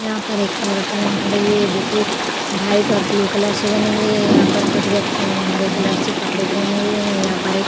यहाँ पर एक एरोप्लेन खड़ी हुई है जो कि भाइट और ब्लू कलर से बनी हुई है। यहाँ पर कुछ व्यक्तियों ने हरे कलर के कपड़े पहने हुए हैं। यहाँ पर एक --